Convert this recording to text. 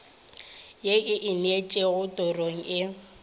ye e ineetšego torong e